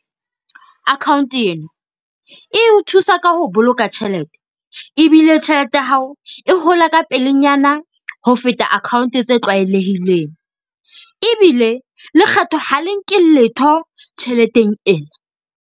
Account ena, e o thusa ka ho boloka tjhelete ebile tjhelete ya hao e hola ka pelenyana ho feta account tse tlwaelehileng. Ebile lekgetho ha le nke letho tjheleteng ena.